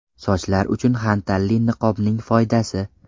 Sochlar uchun xantalli niqobning foydasi.